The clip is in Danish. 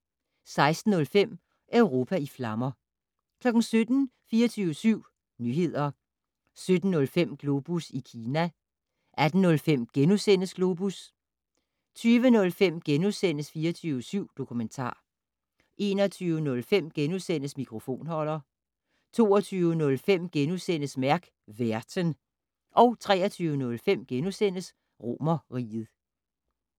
16:05: Europa i flammer 17:00: 24syv Nyheder 17:05: Globus i Kina 18:05: Globus * 20:05: 24syv Dokumentar * 21:05: Mikrofonholder * 22:05: Mærk værten * 23:05: Romerriget *